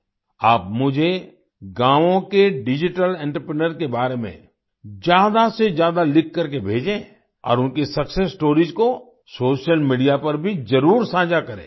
आप मुझे गावों के डिजिटल एंटरप्रेन्योर्स के बारे में ज्यादासेज्यादा लिखकर भेजें और उनकी सक्सेस स्टोरीज को सोशल मीडिया पर भी जरूर साझा करें